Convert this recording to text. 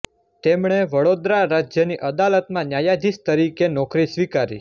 તેમણે વડોદરા રાજ્યની અદાલતમાં ન્યાયાધીશ તરીકે નોકરી સ્વીકારી